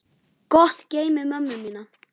Gott geymi mömmu mína.